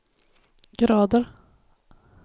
grader